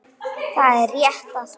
Það er rétt að byrja.